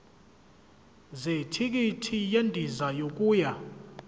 zethikithi lendiza yokuya